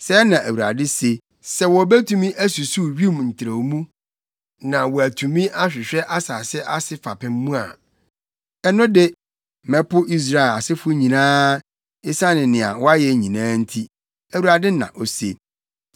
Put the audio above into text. Sɛɛ na Awurade se: “Sɛ wobetumi asusuw wim ntrɛwmu na wɔatumi ahwehwɛ asase ase fapem mu a ɛno de, mɛpo Israel asefo nyinaa, esiane nea wɔayɛ nyinaa nti,” Awurade na ose.